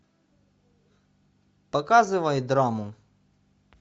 показывай драму